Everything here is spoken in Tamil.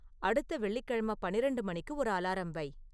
அடுத்த வெள்ளிக்கிழமை பன்னிரண்டு மணிக்கு ஒரு அலாரம் வை